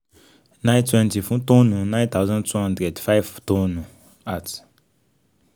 nine twenty fun tonne nine thousand two hundred five tonne at